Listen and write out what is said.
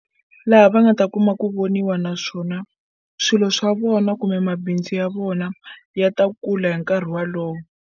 Laha va nga ta kuma ku voniwa naswona swilo swa vona kumbe mabindzu ya vona ya ta kula hi nkarhi walowo.